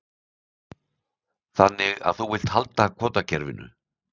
Þannig að þú vilt halda kvótakerfinu?